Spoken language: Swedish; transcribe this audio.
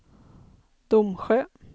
Domsjö